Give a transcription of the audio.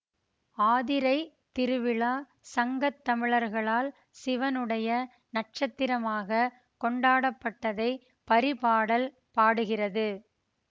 ஆதிரைத்திருவிழா சங்கத்தமிழர்களால் சிவனுடைய நட்சத்திரமாகக் கொண்டாடப்பட்டதை பரிபாடல் பாடுகிறது